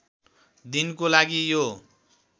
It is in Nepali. दिनको लागि यो